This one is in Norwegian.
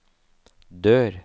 dør